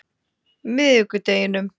miðvikudeginum